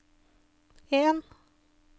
en